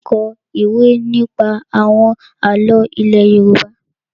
Má a kọ ìwé nípa àwọn àlọ́ ilé Yorùbá.